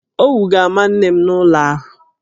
Owu ga-ama nne m n'ụlọ ahụ.